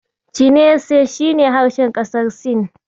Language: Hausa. Chinese shi ne harshen ƙasar Sin.